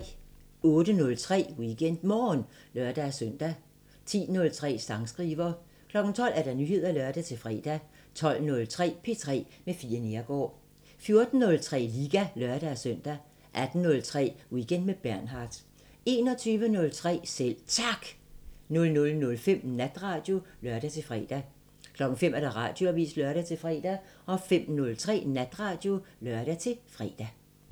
08:03: WeekendMorgen (lør-søn) 10:03: Sangskriver 12:00: Nyheder (lør-fre) 12:03: P3 med Fie Neergaard 14:03: Liga (lør-søn) 18:03: Weekend med Bernhard 21:03: Selv Tak 00:05: Natradio (lør-fre) 05:00: Radioavisen (lør-fre) 05:03: Natradio (lør-fre)